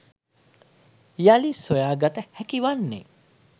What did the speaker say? යළි සොයා ගත හැකි වන්නේ